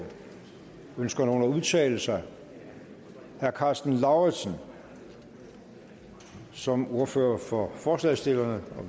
ønsker nogen at udtale sig herre karsten lauritzen som ordfører for forslagsstillerne